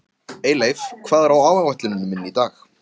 Eyleif, hvað er á áætluninni minni í dag?